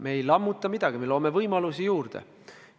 Me ei lammuta midagi, me loome võimalusi juurde.